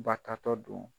Batatɔ don